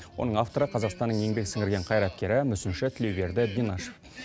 оның авторы қазақстанның еңбек сіңірген қайраткері мүсінші тілеуберді бинашев